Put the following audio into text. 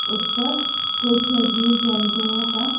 उस पर कुछ जीव जंतुओं का--